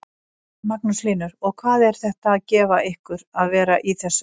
Magnús Hlynur: Og hvað er þetta að gefa ykkur að vera í þessu?